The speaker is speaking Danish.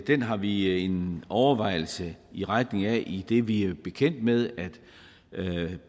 den har vi en overvejelse i retning af idet vi er bekendt med at